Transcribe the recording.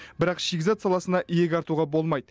бірақ шикізат саласына иек артуға болмайды